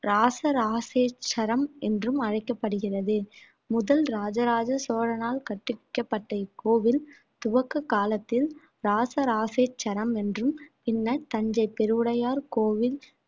இராசராசேச்சரம் என்றும் அழைக்கப்படுகிறது முதல் ராஜராஜ சோழனால் கற்பிக்கப்பட்ட இக்கோவில் துவக்க காலத்தில் இராசராசேச்சரம் என்றும் பின்னர் தஞ்சை பெருவுடையார் கோவில்